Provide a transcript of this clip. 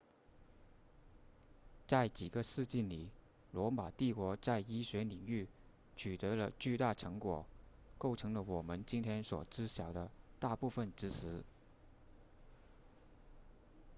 在几个世纪里罗马帝国在医学领域取得了巨大成果构成了我们今天所知晓的大部分知识